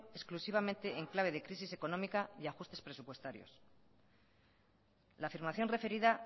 exclusivamente en clave de crisis económica y ajustes presupuestarios la afirmación referida